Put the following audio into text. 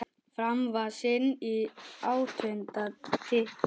Fram vann sinn áttunda titil.